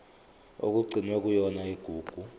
okugcinwe kuyona igugu